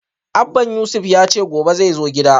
Abban Yusuf yace gobe xai zo gidan